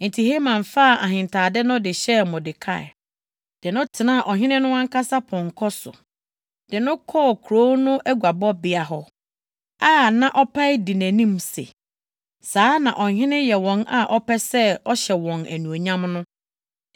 Enti Haman faa ahentade no de hyɛɛ Mordekai, de no tenaa Ɔhene no ankasa pɔnkɔ so, de no kɔɔ kurow no aguabɔbea hɔ a na ɔpae di nʼanim se, “Saa na ɔhene yɛ wɔn a ɔpɛ sɛ ɔhyɛ wɔn anuonyam no.”